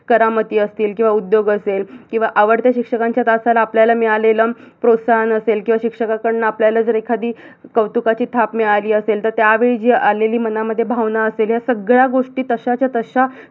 करामती असतील किवा उद्योग असेल किवा आवडत्या शिक्षकांच्या तासाला आपल्याला मिळालेलं प्रोत्साहन असेल किवा शिक्षकाकडन आपल्याला जर एखादी कौतुकाची थाप मिळालीअसेल तर त्यावेळी जी आलेली मनामध्ये जी भावना असेल ह्या सगळ्या गोष्टी तशाच्या तशा